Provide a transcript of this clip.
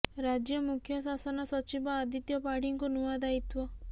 ରାଜ୍ୟ ମୁଖ୍ୟ ଶାସନ ସଚିବ ଆଦିତ୍ୟ ପାଢ଼ୀଙ୍କୁ ନୂଆ ଦାୟିତ୍ୱ